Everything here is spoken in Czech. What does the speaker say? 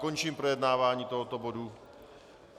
Končím projednávání tohoto bodu.